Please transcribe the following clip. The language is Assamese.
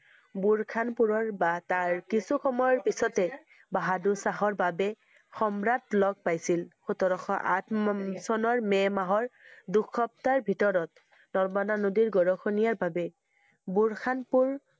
বোৰখনপুৰৰ বা তাৰ কিছু সময়ৰ পিছতে বাহাদুৰ শাহৰ বাবে সম্ৰাট লগ পাইছিল। সোতৰশ আঠ~ম চনৰ মে মাহৰ দুসপ্তাহৰ ভিতৰত নৰ্মদা নদীৰ গঢ়াখহনীয়া বাবে বোৰখনপুৰ